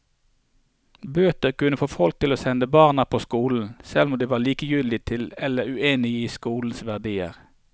Bøter kunne få folk til å sende barna på skolen, selv om de var likegyldige til eller uenige i skolens verdier.